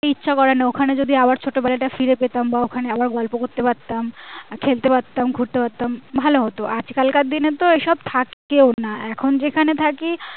ইচ্ছা করে না ওখানে যদি আবার ছোটবেলাটা ফিরে পেতাম বা ওখানে আবার গল্প করতে পারতাম খেলতে পারতাম ঘুরতে পারতাম ভালো হতো আজ কাল কার দিনে তো ওসব থেকেও না এখন যেখানে থাকি